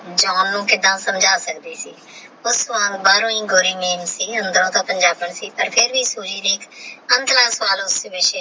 ਜਾਨ ਨੂ ਕੀੜਾ ਸਮਝਨਾ ਸਕਦੀ ਸੀ ਬਾਸ ਬਰੋ ਹੀ ਗੋਇਰੀ ਮਾਮ ਸੀ ਅੰਦਰੋ ਤੇ ਪੁਨ੍ਜਾਬਨ ਸੀ ਫਿਰ ਵੀ